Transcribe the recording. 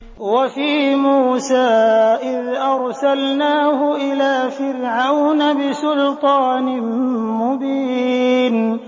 وَفِي مُوسَىٰ إِذْ أَرْسَلْنَاهُ إِلَىٰ فِرْعَوْنَ بِسُلْطَانٍ مُّبِينٍ